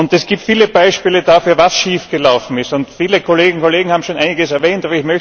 Es gibt viele Beispiele dafür, was schiefgelaufen ist. Viele Kolleginnen und Kollegen haben schon einiges erwähnt.